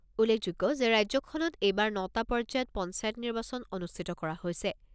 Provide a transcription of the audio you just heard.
উল্লেখযোগ্য যে ৰাজ্যখনত এইবাৰ নটা পৰ্যায়ত পঞ্চায়ত নিৰ্বাচন অনুষ্ঠিত কৰা হৈছে।